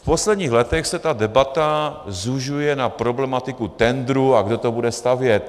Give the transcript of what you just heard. V posledních letech se ta debata zužuje na problematiku tendru, a kdo to bude stavět.